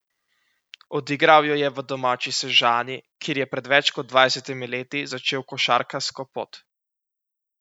Odigral jo je v domači Sežani, kjer je pred več kot dvajsetimi leti začel košarkarsko pot.